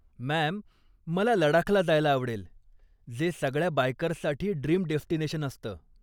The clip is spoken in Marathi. मॅम, मला लडाखला जायला आवडेल, जे सगळ्या बायकर्ससाठी ड्रीम डेस्टिनेशन असतं.